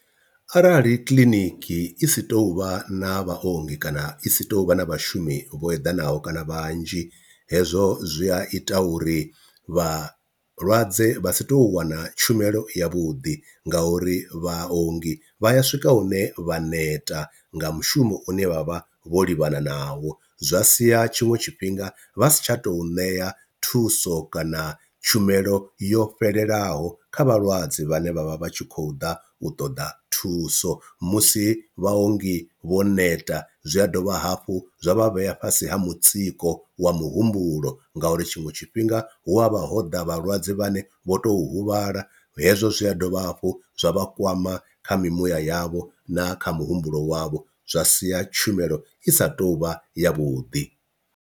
Arali kiḽiniki i si tou vha na vhaongi kana i si tou vha na vhashumi vho eḓanaho kana vhanzhi, hezwo zwi a ita uri vha vhalwadze vha si to wana tshumelo ya vhuḓi nga uri vhaongi vha ya swika hune vha neta nga mushumo une vha vha vho livhana navho, zwa sia tshiṅwe tshifhinga vha si tsha tou ṋeya thuso kana tshumelo yo fhelelaho kha vhalwadze vhane vha vha vha tshi khou ḓa u ṱoḓa thuso, musi vhaongi vho neta zwi a dovha hafhu zwa vha vhea fhasi ha mutsiko wa muhumbulo ngauri tshiṅwe tshifhinga hu avha ho ḓa vhalwadze vhane vho to huvhala hezwo zwi a dovha hafhu zwa vha kwama kha mimuya yavho na kha muhumbulo wavho, zwa sia tshumelo i sa tou vha yavhuḓi.